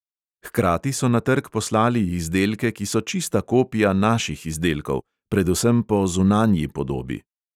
Hkrati so na trg poslali izdelke, ki so čista kopija naših izdelkov, predvsem po zunanji podobi.